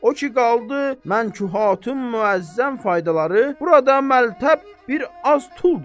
O ki qaldı mənkuhın müəzzəm faydaları, burada məltəb bir az tuldur.